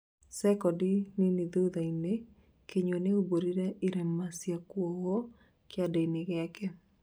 cekonti nini thutha-inĩ, Kinyua nĩaumbũrire irema cia kuohwo kĩande-inĩ gĩake